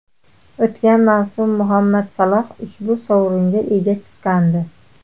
O‘tgan mavsum Muhammad Saloh ushbu sovringa ega chiqqandi.